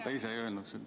Ta ise ei öelnud seda.